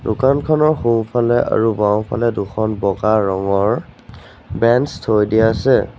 দোকানখনৰ সোঁফালে আৰু বাওঁফালে দুখন বগা ৰঙৰ বেঞ্চ থৈ দিয়া আছে।